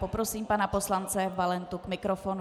Poprosím pana poslance Valentu k mikrofonu.